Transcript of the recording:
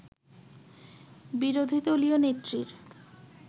বিরোধী দলীয় নেত্রীর